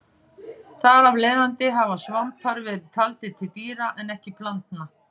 Þar af leiðandi hafa svampar verið taldir til dýra en ekki plantna.